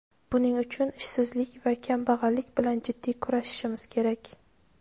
Buning uchun ishsizlik va kambag‘allik bilan jiddiy kurashishimiz kerak.